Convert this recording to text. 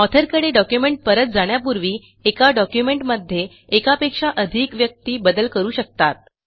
ऑथरकडे document परत जाण्यापूर्वी एका डॉक्युमेंटमध्ये एकापेक्षा अधिक व्यक्ती बदल करू शकतात